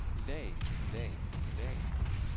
lag lag lag